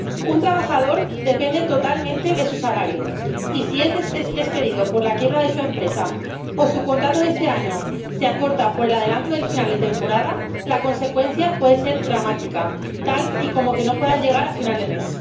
Un trabajador depende totalmente de su salario y si es despedido por la quiebra de su empresa o su contrato de este año se acorta por el adelanto del final de temporada, la consecuencia puede ser dramática, como que no pueda llegar a final de mes.